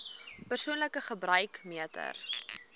persoonlike gebruik meter